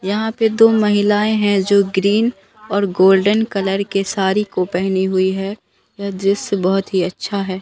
यहां पे दो महिलाएं हैं जो ग्रीन और गोल्डन कलर के साड़ी को पहनी हुई है यह दृश्य बहोत ही अच्छा है।